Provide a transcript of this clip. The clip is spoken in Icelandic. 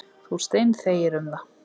Þú steinþegir um það.